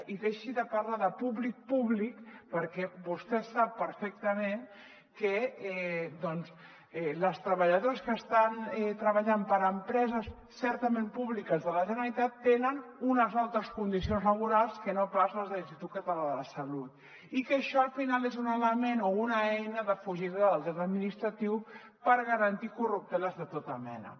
i deixi de parlar de públic públic perquè vostè sap perfectament que les treballadores que estan treballant per empreses certament públiques de la generalitat tenen unes altres condicions laborals que no pas les de l’institut català de la salut i que això al final és un element o una eina de fugida del dret administratiu per garantir corrupteles de tota mena